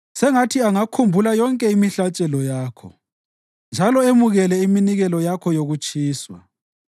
Sengathi angakhumbula yonke imihlatshelo yakho njalo emukele iminikelo yakho yokutshiswa.